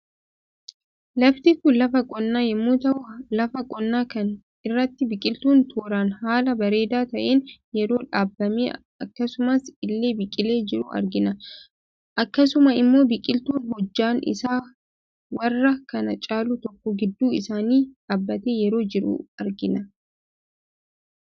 Lafti kun lafa qonnaa yemmuu tahu lafa qonnaa kana irrattis biqiltuun tooraan haala bareedaa taheen yeroo dhaabamee akkasuma illee biqilee jiru argina. Akkasuma immoo biqiltuun hojjaan isaa warra kaan caaluu tokko gidduu isaanii dhaabatee yeroo jiru argina.